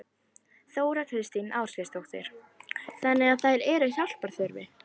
Þóra Kristín Ásgeirsdóttir: Þannig að þær eru hjálpar þurfi?